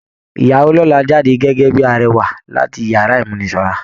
Ìyàwó lọ́la jáde gẹ́gẹ́ bíi arẹwà láti inú yàrá ìmúnisanra.